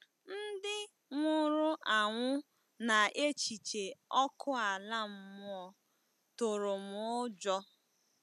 Ndị nwụrụ anwụ na echiche ọkụ ala mmụọ tụrụ m ụjọ.